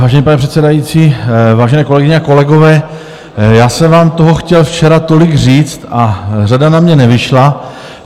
Vážený pane předsedající, vážené kolegyně a kolegové, já jsem vám toho chtěl včera tolik říct a řada na mě nevyšla.